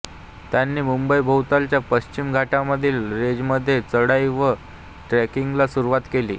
त्यांनी मुंबईभोवतालच्या पश्चिम घाटामधील रेंजमध्ये चढाई व ट्रेकिंगला सुरुवात केली